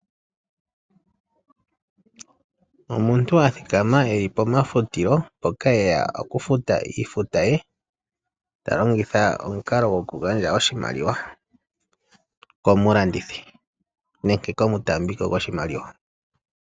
Omuntu a thikama eli pomafutilo mpoka eya oku futa iifuta ye. Ta longitha omukalo gwoku gandja oshimaliwa komulandithi nenge omutaambiko gwoshimaliwa.